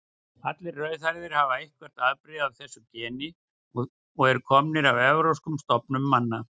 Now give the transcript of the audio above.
Allir rauðhærðir hafa eitthvert afbrigði af þessu geni og eru komnir af evrópskum stofnum manna.